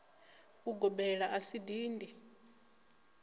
u gobela a si dindi